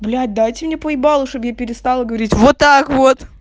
блядь дайте мне по ебалу чтобы я перестала говорить вот так вот